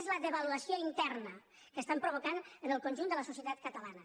és la devaluació interna que provoquen en el conjunt de la societat catalana